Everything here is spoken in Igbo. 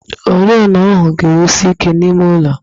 Oriọna ahụ ga-enwusi ike n'ime ụlọ